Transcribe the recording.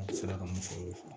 An sera ka mun fɔ o